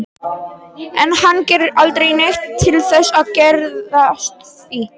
En hann gerir aldrei neitt til þess að geðjast því.